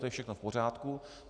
To je všechno v pořádku.